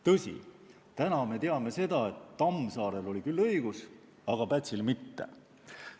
Tõsi, täna me teame seda, et Tammsaarel oli küll õigus, aga Pätsil mitte.